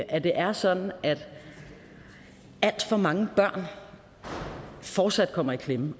at det er sådan at alt for mange børn fortsat kommer i klemme